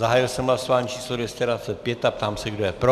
Zahájil jsem hlasování číslo 225 a ptám se, kdo je pro.